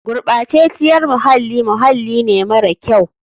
Gurɓaceciyar muhalli muhalli ne mara kyau.